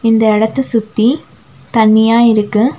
இந்த எடத்த சுத்தி தண்ணியா இருக்கு.